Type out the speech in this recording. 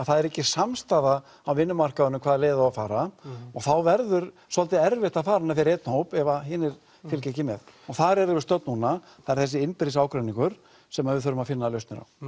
það er ekki samstaða á vinnumarkaðnum um hvaða leið á að fara og þá verður svolítið erfitt að fara hana fyrir einn hóp ef hinir fylgja ekki með þar erum við stödd núna það er þessi innbyrðis ágreiningur sem við þurfum að finna lausnir á